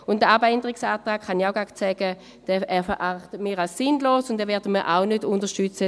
Auch den Abänderungsantrag erachten wir als sinnlos und werden ihn auch nicht unterstützen.